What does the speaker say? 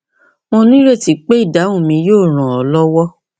mo ní ìrètí pé ìdáhùn mi yóò ràn ọ lọwọ